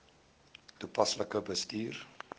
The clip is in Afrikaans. toepaslik bestuur